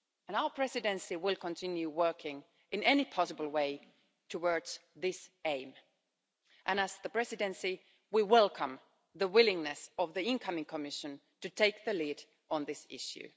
Our Presidency will continue working in any possible way towards this aim, and as the Presidency, we welcome the willingness of the incoming Commission to take the lead on this issue.